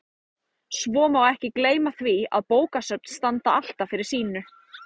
Svo má ekki gleyma því að bókasöfn standa alltaf fyrir sínu.